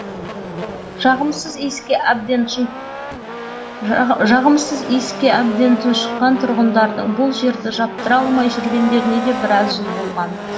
жағымсыз иіске әбден тұншыққан тұрғындардың бұл жерді жаптыра алмай жүргендеріне де біраз жыл болған